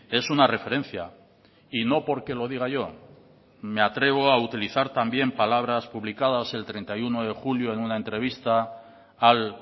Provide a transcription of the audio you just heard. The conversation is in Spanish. es una referencia y no porque lo diga yo me atrevo a utilizar también palabras publicadas el treinta y uno de julio en una entrevista al